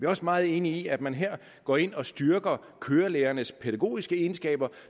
også meget enige i at man her går ind og styrker kørelærernes pædagogiske egenskaber